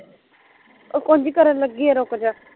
ਉਹ ਕੁਜ ਕਰਨ ਲੱਗੀ ਆ ਰੁਕਜਾ